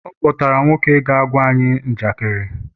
ọ kpọtara nwoke ka ọ gwa anyị njakịrị